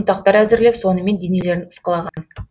ұнтақтар әзірлеп сонымен денелерін ысқылаған